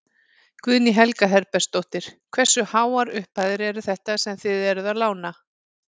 Guðný Helga Herbertsdóttir: Hversu háar upphæðir eru þetta sem þið eruð að lána?